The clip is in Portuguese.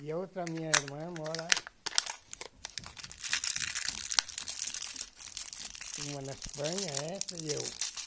E a outra, minha irmã, mora... Uma na Espanha, essa e eu.